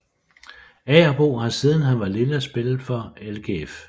Agerbo har siden han var lille spillet for LGF